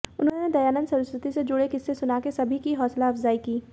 उन्होंने दयानंद सरस्वती से जुड़े किस्से सुना सभी की हौसला अफजाई की